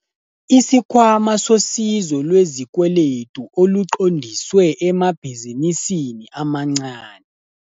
Isikhwama Sosizo Lwezikweletu Oluqondiswe Emabhizinisini Amancane.